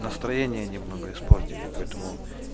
настроение немного испортили поэтому